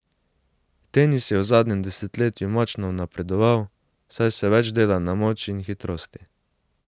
Tenis je v zadnjem desetletju močno napredoval, saj se več dela na moči in hitrosti.